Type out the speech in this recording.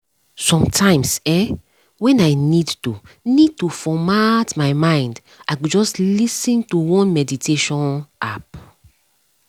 sometimes[um]when i need to need to format my mind i go just lis ten to one meditation app